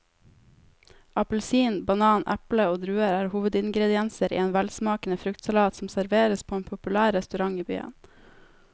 Appelsin, banan, eple og druer er hovedingredienser i en velsmakende fruktsalat som serveres på en populær restaurant i byen.